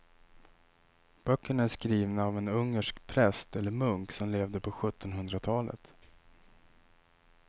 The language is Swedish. Böckerna är skrivna av en ungersk präst eller munk som levde på sjuttonhundratalet.